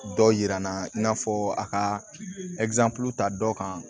Dɔw jira n na i n'a fɔ a ka ta dɔ kan